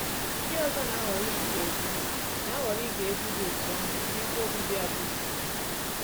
Ndị ọzọ na-ahọrọ ige egwú na-ahọrọ ige egwú dị otú ahụ n’ebe obibi abụzụ.